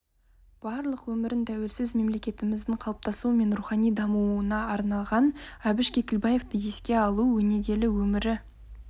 барлық өмірін тәуелсіз мемлекетіміздің қалыптасуы мен рухани дамуына арнаған әбіш кекілбаевты еске алу өнегелі өмірі